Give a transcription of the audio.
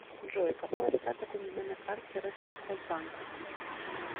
джой какой остаток у меня на карте россельхозбанка